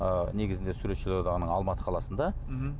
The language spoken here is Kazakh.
ы негізінде суретшілер одағы алматы қаласында мхм